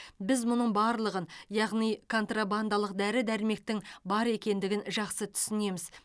біз мұның барлығын яғни контрабандалық дәрі дәрмектің бар екендігін жақсы түсінеміз